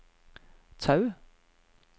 Tau